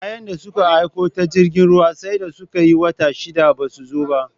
Kayan da suka aiko ta jirgin ruwa sai da suka yi wata shida basu zo ba